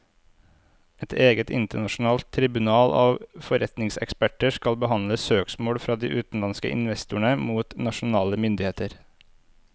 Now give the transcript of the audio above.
Et eget internasjonalt tribunal av forretningseksperter skal behandle søksmål fra de utenlandske investorene mot nasjonale myndigheter.